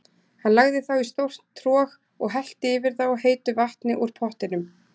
Hann lagði þá í stórt trog og hellti yfir þá heitu vatni úr pottinum.